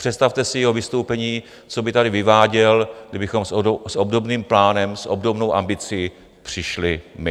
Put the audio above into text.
Představte si jeho vystoupení, co by tady vyváděl, kdybychom s obdobným plánem, s obdobnou ambicí přišli my.